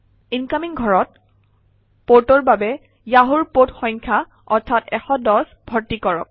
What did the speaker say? incoming ঘৰত পৰ্টৰ বাবে য়াহুৰ পৰ্ট সংখ্যা অৰ্থাৎ 110 ভৰ্তি কৰক